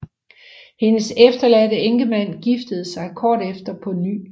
Hendes efterladte enkemand giftede sig kort efter på ny